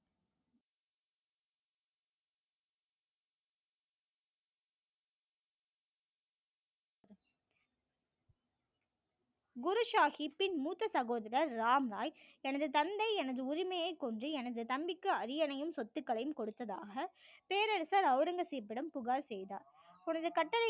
குரு சாகிப் பின் மூத்த சகோதரர் ராம் ராய் தனது தந்தை எனது உரிமையை கொன்று எனது தம்பிக்கு அரியணையும் சொத்துக்களையும் கொடுத்ததாக பேரரசர் ஔரங்கசீப்பிடம் புகார் செய்தார் உனது கட்டளைக்கு